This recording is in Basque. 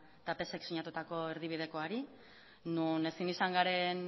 eta psek sinatutako erdibidekoari non ezin izan garen